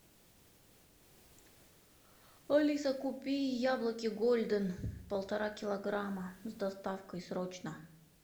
алиса купи яблоки голден полтора килограмма с доставкой срочно